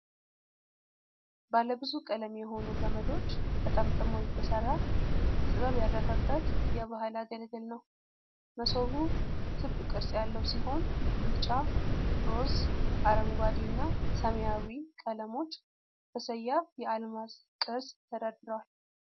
ባለ ብዙ ቀለም የሆኑ ገመዶች ተጠምጥመው የተሰራ፣ ጥበብ ያረፈበት የባህል አገልግል ነው ነው። መሶቡ ክብ ቅርጽ ያለው ሲሆን፣ ቢጫ፣ ሮዝ፣ አረንጓዴ እና ሰማያዊ ቀለሞች በሰያፍ የአልማዝ ቅርጽ ተደርድረዋል።